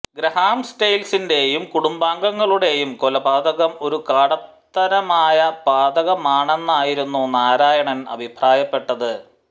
Graham സ്റ്റെയിൻസിന്റെയും കുടുംബാംഗങ്ങളുടേയും കൊലപാതകം ഒരു കാടത്തരമായ പാതകമാണെന്നായിരുന്നു നാരായണൻ അഭിപ്രായപ്പെട്ടത്